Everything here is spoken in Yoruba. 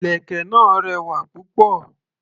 Ìlẹ̀kẹ̀ náà rẹwà púpọ̀.